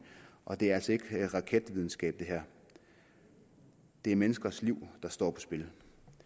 og det her er altså ikke raketvidenskab det er menneskers liv der står på spil